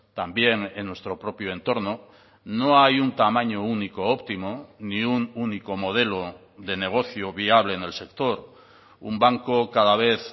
también en nuestro propio entorno no hay un tamaño único óptimo ni un único modelo de negocio viable en el sector un banco cada vez